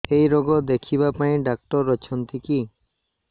ଏଇ ରୋଗ ଦେଖିବା ପାଇଁ ଡ଼ାକ୍ତର ଅଛନ୍ତି କି